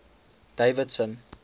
davidson